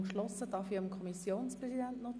3.4 %von CHF 83,6 Millionen Kantonsbeitrag).